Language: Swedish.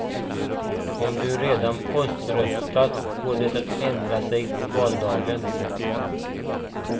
Om du redan poströstat går det att ändra sig på valdagen.